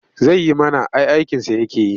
Zai yi mana ai aikinsa yake yi.